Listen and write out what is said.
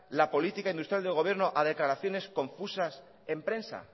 la política industrial del gobierno a declaraciones confusas en prensa